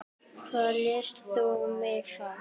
Hvað lést þú mig fá?